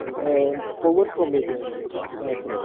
ହଁ overs କମେଇ ଦିଅନ୍ତି match ର